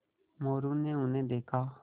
मोरू ने उन्हें देखा